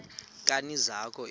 nkani zakho ezi